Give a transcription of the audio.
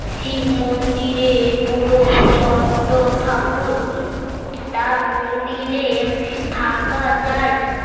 শিব মন্দিরে পুরো তন্ত ঠাকুর তা মন্দিরে থাকা যাই